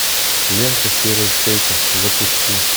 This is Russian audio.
лента серая шейка запусти